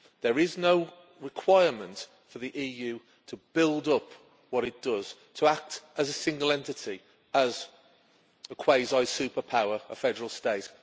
There is no requirement for the EU to build up what it does, to act as a single entity, as a quasi superpower, as a federal state.